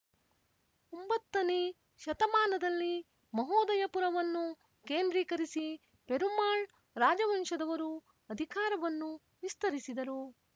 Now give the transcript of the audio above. ಒಂಬತ್ತನೇ ಶತಮಾನದಲ್ಲಿ ಮಹೋದಯಪುರವನ್ನು ಕೇಂದ್ರೀಕರಿಸಿ ಪೆರುಮಾಳ್ ರಾಜವಂಶದವರು ಅಧಿಕಾರವನ್ನು ವಿಸ್ತರಿಸಿದರು